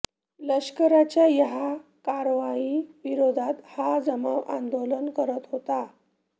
लष्कराच्या या कारवाई विरोधात हा जमाव आंदोलन करत होता